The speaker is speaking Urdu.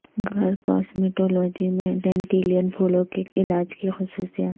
گھر کاسمیٹولوجی میں ڈینڈیلن پھولوں کے علاج کی خصوصیات